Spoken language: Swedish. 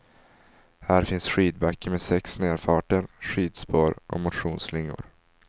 Här finns skidbacke med sex nedfarter, skidspår och motionsslingor.